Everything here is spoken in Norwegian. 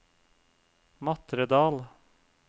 Matredal